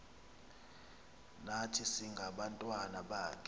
nathi singabantwana bakho